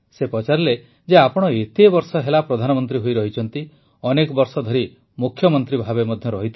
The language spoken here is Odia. ସେ ପଚାରିଲେ ଯେ ଆପଣ ଏତେ ବର୍ଷ ହେଲା ପ୍ରଧାନମନ୍ତ୍ରୀ ହୋଇରହିଛନ୍ତି ଅନେକ ବର୍ଷ ଧରି ମୁଖ୍ୟମନ୍ତ୍ରୀ ଭାବେ ମଧ୍ୟ ରହିଥିଲେ